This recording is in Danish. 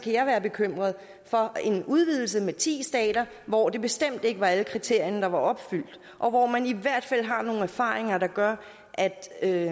jeg være bekymret for en udvidelse med ti stater hvor det bestemt ikke var alle kriterierne der var opfyldt og hvor man i hvert fald har nogle erfaringer der gør at